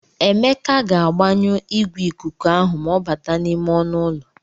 Emeka ga-agbanyụ igwe ikuku ahụ ma ọ bata n'ime ọnụ ụlọ.